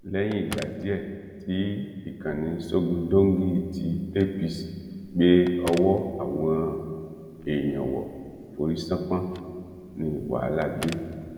lẹyìn ìgbà díẹ tí ìkànnì sógundóńgí tí apc gbé ọwọ àwọn èèyàn wọ forí ṣánpọn ní wàhálà dé